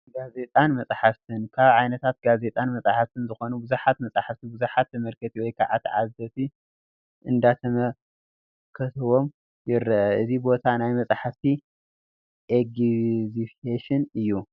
ጋዜጣን መፅሓፍትን፡- ካብ ዓይነታት ጋዜጣን መፅሓፍትን ዝኾኑ ብዙሓት መፅሓፍቲ ብዙሓት ተመልከቲ ወይ ከዓ ተዓዘብቲ እንዳተመልከትዎም ይረአ፡፡ እዚ ቦታ ናይቲ መፅሓፍቲ ኤግዝቪሽን እዩ፡፡